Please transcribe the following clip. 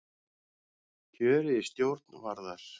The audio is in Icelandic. Kjörið í stjórn Varðar